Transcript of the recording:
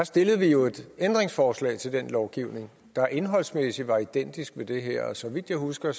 stillede vi jo et ændringsforslag til den lovgivning der indholdsmæssigt var identisk med det her og så vidt jeg husker